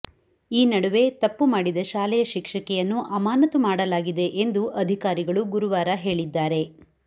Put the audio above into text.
ಈ ನಡುವೆ ತಪ್ಪು ಮಾಡಿದ ಶಾಲೆಯ ಶಿಕ್ಷಕಿಯನ್ನು ಅಮಾನತು ಮಾಡಲಾಗಿದೆ ಎಂದು ಅಧಿಕಾರಿಗಳು ಗುರುವಾರ ಹೇಳಿದ್ದಾರೆ